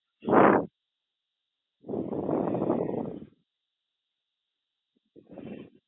આહ